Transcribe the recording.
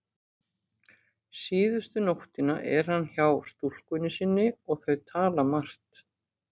Síðustu nóttina er hann hjá stúlkunni sinni og þau tala margt.